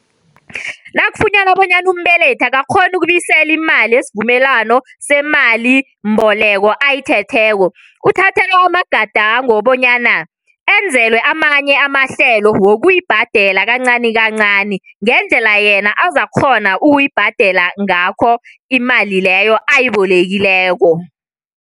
Nakufunyanwa bona umbelethi akakghoni ukubuyisela imali yesivumelwano semalimboleko ayithetheko, uthathelwa amagadango wokobanyana enzelwe amanye amahlelo wokuyibhadela kancani kancani ngendlela yena azakukghona ukuyibhadela ngakho imali leyo ayibolekileko.